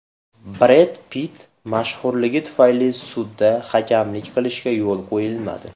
Bred Pitt mashhurligi tufayli sudda hakamlik qilishiga yo‘l qo‘yilmadi.